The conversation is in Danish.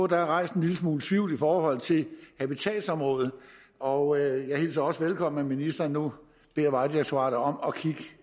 der er rejst en lille smule tvivl i forhold til habitatsområdet og jeg hilser også velkommen at ministeren nu beder vejdirektoratet om